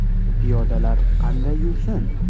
Piyodalar qanday yursin?